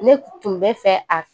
Ne tun bɛ fɛ a